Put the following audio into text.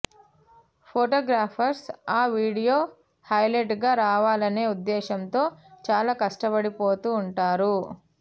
photographers ఆ video హైలైట్గా రావాలనే ఉద్దేశ్యంతో చాలా కష్టపడి పోతూ ఉంటారు